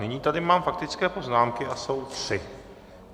Nyní tady mám faktické poznámky a jsou tři.